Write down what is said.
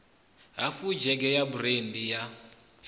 hafu dzhege ya burandi ya